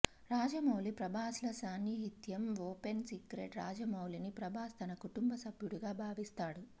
రాజమౌళి ప్రభాస్ ల సాన్నిహిత్యం open secret రాజమౌళిని ప్రభాస్ తన కుటుంబ సభ్యుడుగా భావిస్తాడు